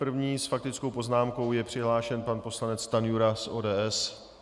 První s faktickou poznámkou je přihlášen pan poslanec Stanjura z ODS.